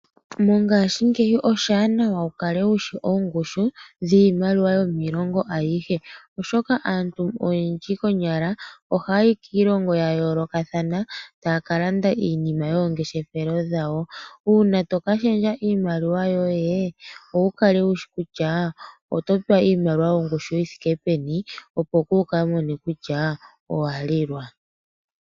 Mongashingeyi oshiwanawa wu kale wu shi ongushu yiimaliwa yiilongo ayihe oshoka aantu oyendji konyala ohayayi kiilongo ya yoolokathana taya ka landa iinima yomangeshefelo gawo. Uuna to ka shendja iimaliwa yoye opo wu kale wu shi kutya oto pewa iimaliwa yongushu yi thike peni opo wu kale wu shi kutya ino lilwa.